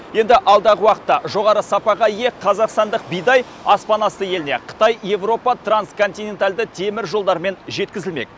енді алдағы уақытта жоғары сапаға ие қазақстандық бидай аспанасты еліне қытай еуропа трансконтинентальды теміржолдарымен жеткізілмек